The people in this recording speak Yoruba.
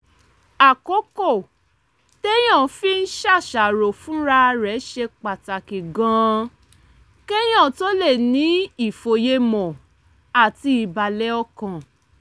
àkókò téèyàn fi ń ṣàṣàrò fúnra rẹ̀ ṣe pàtàkì gan-an kéèyàn tó lè ní ìfòyemọ̀ àti ìbàlẹ̀ ọkàn